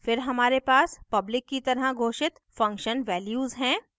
फिर हमारे पास public की तरह घोषित function values हैं